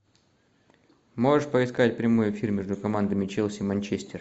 можешь поискать прямой эфир между командами челси манчестер